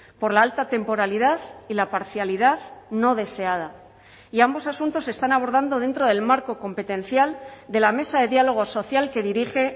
por la alta temporalidad y la parcialidad no deseada y ambos asuntos se están abordando dentro del marco competencial de la mesa de diálogo social que dirige